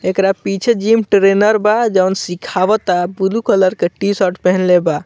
एकरा पीछे gym trainer बा जोन सिखावाता ब्लू कलर के टी-शर्ट पहनले बा।